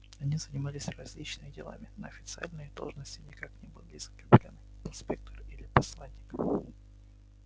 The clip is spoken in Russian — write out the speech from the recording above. они занимались различными делами но официально их должности никак не были закреплены инспектор или посланник